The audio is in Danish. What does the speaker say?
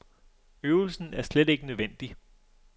Øvelsen er slet ikke nødvendig.